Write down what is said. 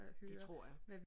Det tror jeg